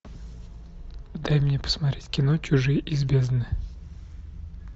дай мне посмотреть кино чужие из бездны